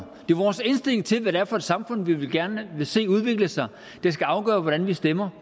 vores indstilling til hvad for et samfund vi gerne vil se udvikle sig der skal afgøre hvordan vi stemmer